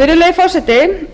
virðulegi forseti